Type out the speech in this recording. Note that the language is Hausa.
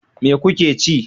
Me kuke ci?